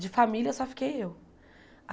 De família só fiquei eu.